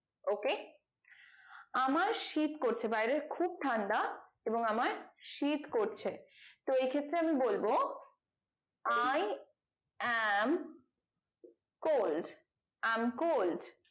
ok আমার শীত করছে বাইরে খুব ঠান্ডা এবং আমার শীত করছে তো এই ক্ষেত্রে আমি বলবো i am cold i am cold